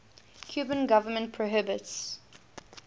cuban government prohibits